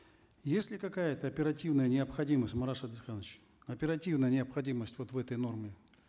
есть ли какая то оперативная необходимость марат шадыханович оперативная необходимость вот в этой норме